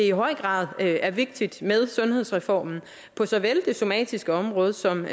i høj grad er vigtigt med sundhedsreformen på såvel det somatiske område som